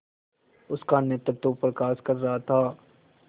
उनका नेतृत्व प्रकाश कर रहा था